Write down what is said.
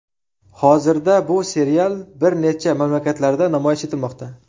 Hozirda bu serial bir necha mamlakatlarda namoyish etilmoqda.